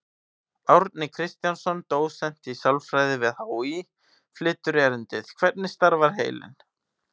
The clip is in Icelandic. Árni Kristjánsson, dósent í sálfræði við HÍ, flytur erindið: Hvernig starfar heilinn?